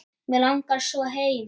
Mig langar svo heim.